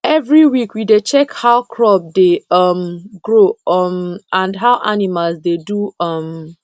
every week we dey check how crop dey um grow um and how animals dey do um